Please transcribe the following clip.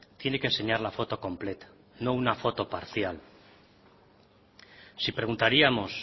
tiene que enseñar la foto completa no una foto parcial si preguntaríamos